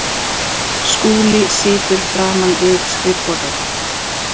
Skúli situr framan við skrifborðið.